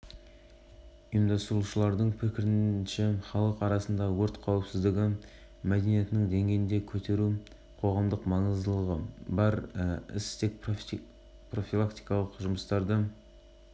басқарма төрағасы тимур мейрханұлына алғыс білдіремін бірге істеген жұмысымыз қолайлы нәтиже беретініне сенемін балалардың қауіпсіздігін